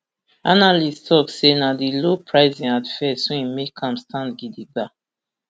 analysts tok say na di low pricing at first wey make am stand gidigba